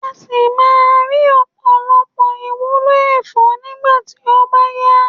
a si maa ri opolopo iwulo efo nigba ti o ba ya